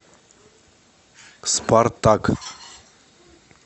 спартак